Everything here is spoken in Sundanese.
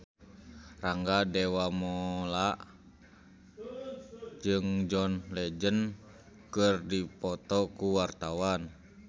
Rangga Dewamoela jeung John Legend keur dipoto ku wartawan